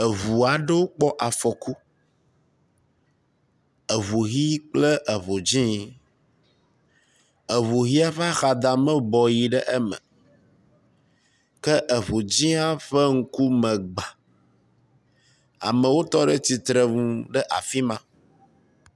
Eŋu aɖewo kpɔ afɔku. Eŋu ʋi kple eŋu dzɛ̃. Eŋu ʋia ƒe axadame bɔ yi ɖe eme ke eŋu dzɛ̃a ƒe ŋkume gbã. Amewo tɔ ɖe tsitre nu le afi ma.